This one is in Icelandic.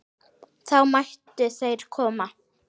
Þá mættu þeir koma.